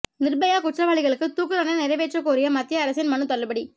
நிர்பயா குற்றவாளிகளுக்கு தூக்கு தண்டனை நிறைவேற்றக் கோரிய மத்திய அரசின் மனு தள்ளுபடி